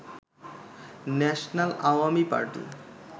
national Awami party